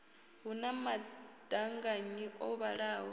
hu na maṱanganyi o vhalaho